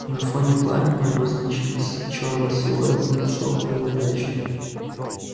на фоне пламени обозначился чёрный силуэт к ним шёл проверяющий